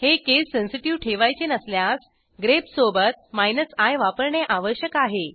हे case sensitive ठेवायचे नसल्यास grepसोबत माइनस आय वापरणे आवश्यक आहे